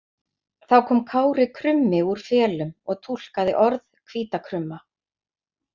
Þá kom Kári krummi úr felum og túlkaði orð hvíta krumma.